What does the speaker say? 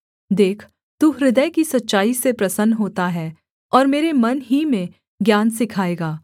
देख तू हृदय की सच्चाई से प्रसन्न होता है और मेरे मन ही में ज्ञान सिखाएगा